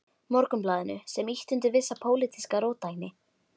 Morgunblaðinu, sem ýtti undir vissa pólitíska róttækni.